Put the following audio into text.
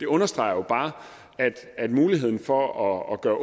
understreger at muligheden for at gøre